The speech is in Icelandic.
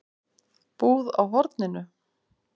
Búð á horninu?